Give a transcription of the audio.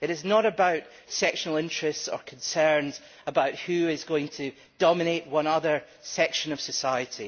It is not about sectional interests or concerns about who is going to dominate one other section of society.